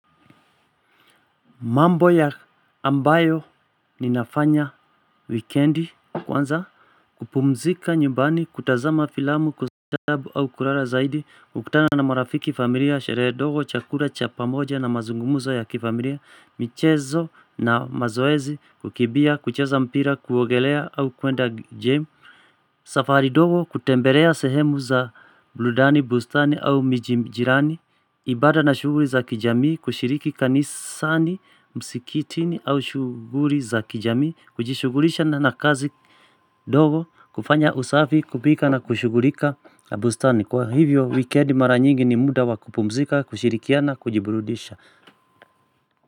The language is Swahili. Mambo ya ambayo ninafanya wikendi kwanza kupumzika nyumbani kutazama filamu kustaarabu au kulala zaidi kukutana na marafiki familia sherehe ndogo chakula cha pamoja na mazungumzo ya kifamilia michezo na mazoezi kukimbia kucheza mpira kuogelea au kuenda gym safari dogo kutembelea sehemu za burudani bustani au miji jirani ibada na shughuli za kijamii kushiriki kanisani, msikitini au shughuli za kijamii Kujishughulisha na kazi dogo kufanya usafi kupika na kushughulika bustani Kwa hivyo wikendi mara nyingi ni muda wa kupumzika, kushirikiana kujiburudisha.